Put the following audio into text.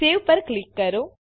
save પર click કરો